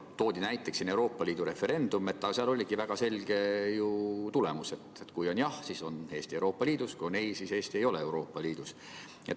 Toodi näiteks Euroopa Liiduga liitumise referendum, aga seal oligi teada väga selge tulemus: kui vastus on jah, siis on Eesti Euroopa Liidus, kui on ei, siis Eesti ei ole Euroopa Liidus.